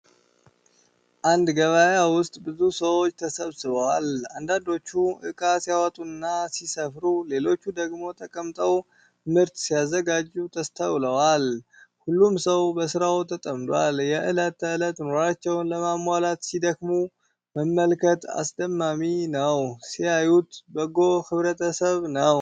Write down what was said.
አንድ ገበያ ውስጥ ብዙ ሰዎች ተሰብስበዋል። አንዳንዶቹ ዕቃ ሲያወጡና ሲሰፍሩ ። ሌሎቹ ደግሞ ተቀምጠው ምርት ሲያዘጋጁ ተስተውለዋል። ሁሉም ሰው በሥራው ተጠምዷል። የእለት ተእለት ኑሮአቸውን ለማሟላት ሲደክሙ መመልከት አስደማሚ ነው!!። ሲያዩት በጎ ህብረተሰብ ነው።